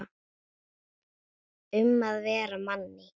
Um að vera Manni!